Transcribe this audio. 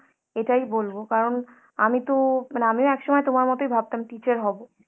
এটাই বলবো কারণ আমিতো মানে আমিও একসময় তোমার মতোই ভাবতাম teacher হবো।